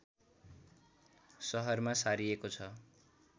सहरमा सारिएको छ